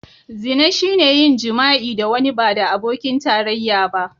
Zina shine yin jima'i da wani ba da abokin tarayya ba.